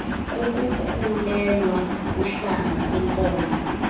kukukhulelwa kuhlanga kwinkolo